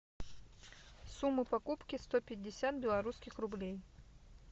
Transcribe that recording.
сумма покупки сто пятьдесят белорусских рублей